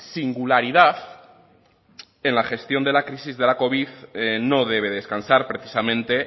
singularidad en la gestión de la crisis de la covid no debe descansar precisamente